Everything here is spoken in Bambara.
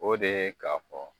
O de ye k'a fɔ